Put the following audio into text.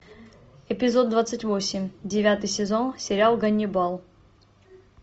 эпизод двадцать восемь девятый сезон сериал ганнибал